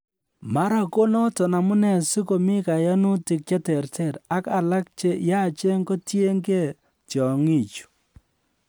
mara ko noton amune si komi koyonutik che ter ter, ak alak che yachen kotienge tyong'ichu